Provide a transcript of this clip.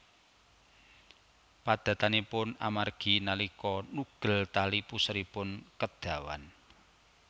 Padatanipun amargi nalika nugel tali puseripun kedawan